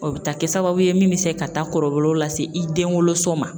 O bɛ taa kɛ sababu ye min bɛ se ka taa kɔlɔlɔw lase i denwoloso ma.